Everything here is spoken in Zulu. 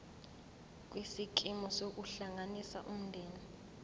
kwisikimu sokuhlanganisa umndeni